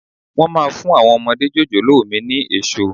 Máa má fún àwọn ọmọdé jòjòló mi ni èso.